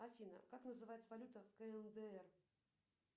афина как называется валюта кндр